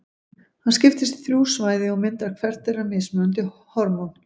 Hann skiptist í þrjú svæði og myndar hvert þeirra mismunandi hormón.